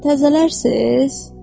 Təzələrsiz?